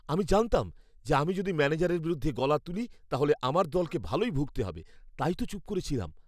আমি জানতাম যে আমি যদি ম্যানেজারের বিরুদ্ধে গলা তুলি তাহলে আমার দলকে ভালোই ভুগতে হবে, তাই তো চুপ করে ছিলাম।